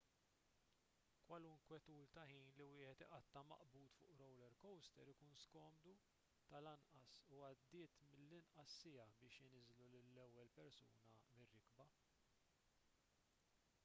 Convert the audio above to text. kwalunkwe tul ta' ħin li wieħed iqatta' maqbud fuq roller coaster ikun skomdu tal-anqas u għaddiet mill-inqas siegħa biex iniżżlu lill-ewwel persuna mir-rikba